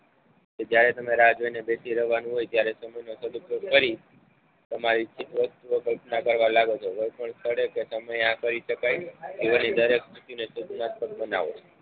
કે જયારે તમે રાહ જોઈને બેસી રહેવાનું હોય ત્યારે તમે સમય નો સદુપયોગ કરી તમારી ચીજવસ્તુઓ કલ્પના કરવા લાગો છો કોઈ પણ સાથેદે કે સમયે આ કરી શકાય કેવલની દરેક વસ્તીને સદુનાત્મક બનાવો.